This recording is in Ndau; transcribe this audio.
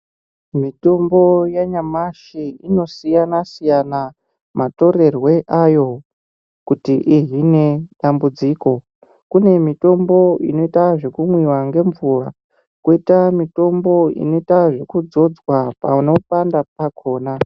Mitombo yanyamashi inosiyana siyana matorerwe ayo kuti izvine dambudziko, kune mitombo inoita zvekumwiwa ngemvura koita mitombo inoita kuzodzwa panopanda pakona .